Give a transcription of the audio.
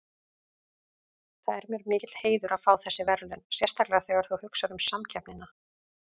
Það er mér mikill heiður að fá þessi verðlaun sérstaklega þegar þú hugsar um samkeppnina.